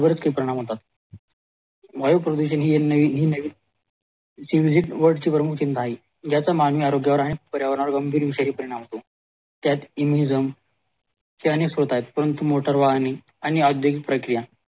वायू प्रदूषण हि नैवित सिमीजीत वर्ड ची ज्याची मागणी प्रामुख्या वर आहे त्या वर विषारी परिणाम होतो त्या इमिझम त्यानेच होत आहे आणि मोटार वाहने आणि औद्योगिक प्रक्रिया